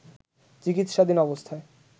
চিকিৎসাধীন অবস্থায়